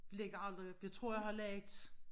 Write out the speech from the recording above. Lægger aldrig op jeg tror jeg har lagt